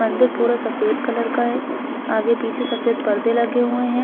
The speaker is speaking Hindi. मंदिर पूरा सफेद कलर का है आगे -पीछे सफेद पर्दे लगे हुए हैं।